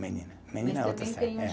Menina, menina é outra. É